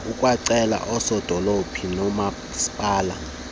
ukwacele oosodolophu noomaspala